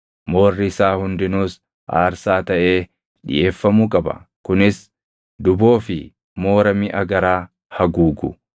Moorri isaa hundinuus aarsaa taʼee dhiʼeeffamuu qaba; kunis duboo fi moora miʼa garaa haguugu,